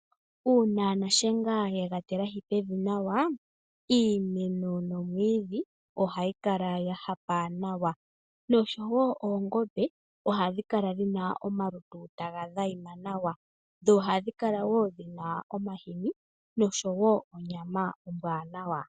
Uuna nashenga yega tilahi pevi nawa. Iimeno nomwiidhi oha gu kala gwa hapa nawa. Nosho woo oongombe ohadhi kala dhina omalutu taga adhima nawa dho ohadhi kala woo dhina omahini nosho woo onyama ombwanawa.